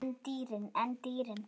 En dýrin?